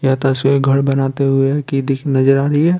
या तस्वीर घर बनाते हुए कि दिख नजर आ रही है।